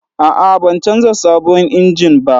A'a, ban canza sabon injin ba.